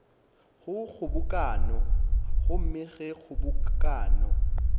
go kgobokano gomme ge kgobokano